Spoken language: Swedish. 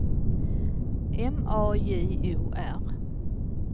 M A J O R